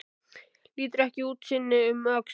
Lítur ekki einu sinni um öxl.